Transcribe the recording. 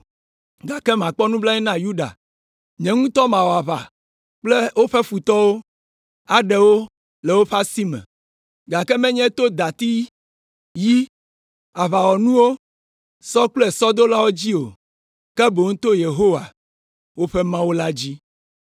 gake makpɔ nublanui na Yuda. Nye ŋutɔ mawɔ aʋa kple woƒe futɔwo, aɖe wo le woƒe asi me, gake menye to dati, yi, aʋawɔnuwo, sɔ kple sɔdolawo dzi o, ke boŋ to Yehowa, woƒe Mawu la dzi.”